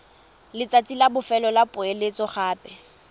letsatsi la bofelo la poeletsogape